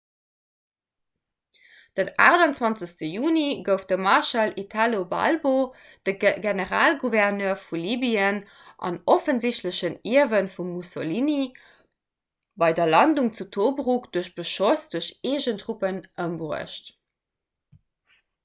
den 28 juni gouf de marschall italo balbo de generalgouverneur vu libyen an offensichtlechen ierwe vum mussolini bei der landung zu tobruk duerch beschoss duerch eegen truppen ëmbruecht